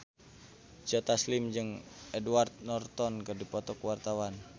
Joe Taslim jeung Edward Norton keur dipoto ku wartawan